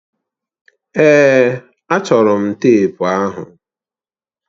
Èè, achọrọ m teepu ahụ.